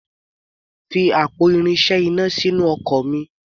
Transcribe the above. Fi àpò irinṣẹ́ iná sínú ọkọ̀ mi.